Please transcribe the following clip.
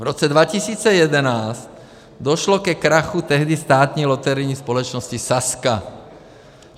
V roce 2011 došlo ke krachu tehdy státní loterijní společnosti Sazka.